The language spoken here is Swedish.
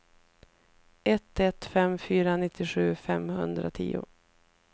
ett ett fem fyra nittiosju femhundratio